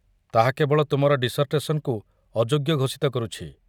ତାହା କେବଳ ତୁମର ଡିସର୍ଟେସନ୍‌କୁ ଅଯୋଗ୍ୟ ଘୋଷିତ କରୁଛି।